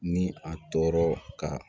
Ni a tɔɔrɔ ka